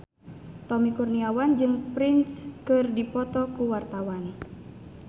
Tommy Kurniawan jeung Prince keur dipoto ku wartawan